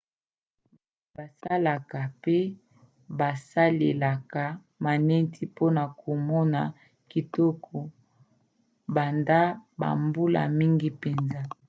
bato basalaka pe basalelaka maneti mpona kokoma kitoko banda bambula mingi mpenza